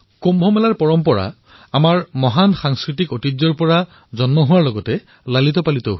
কুম্ভৰ পৰম্পৰা আমাৰ মহান সাংস্কৃতিক ঐতিহ্যৰ দ্বাৰা পুষ্পিত আৰু পল্লৱিত